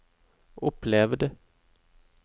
opplevd